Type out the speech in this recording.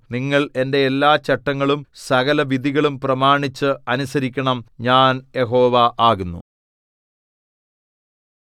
നിങ്ങൾ എന്റെ എല്ലാ ചട്ടങ്ങളും സകലവിധികളും പ്രമാണിച്ച് അനുസരിക്കണം ഞാൻ യഹോവ ആകുന്നു